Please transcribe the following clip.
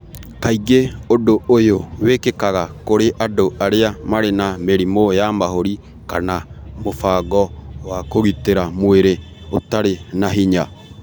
Kaingĩ ũndũ ũyũ wĩkĩkaga kũrĩ andũ arĩa marĩ na mĩrimũ ya mahũri kana mũbango wa kũgitĩra mwĩrĩ ũtarĩ na hinya.